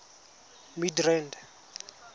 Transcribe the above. midrand